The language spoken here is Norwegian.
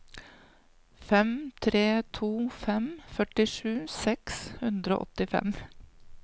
fem tre to fem førtisju seks hundre og åttifem